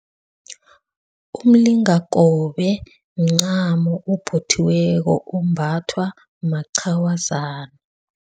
Umlingakobe mncamo ophothiweko ombathwa maqhawazana.